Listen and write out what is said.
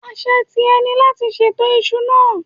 Àṣe tìẹ ni láti ṣètò isu náà.